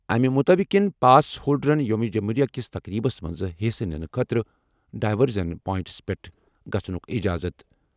اَمہِ مُطٲبِق یِن پاس ہولڈرَن یوم جمہوریہ کِس تقریبس منٛز حصہٕ نِنہٕ خٲطرٕ ڈایورژن پوائنٹَس پٮ۪ٹھ گژھنُک اِجازت۔